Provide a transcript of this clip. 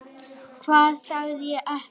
Hvað sagði ég ekki?